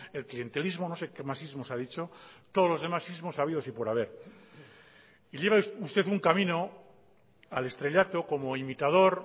el clientelismo no sé qué más ismos ha dicho todos los demás ismos habidos y por haber y lleva usted un camino al estrellato como imitador